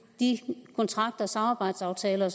i de kontrakter samarbejdsaftaler